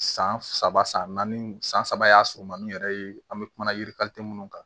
San saba san naani san saba y'a surunmaninw yɛrɛ ye an bɛ kuma yirikali minnu kan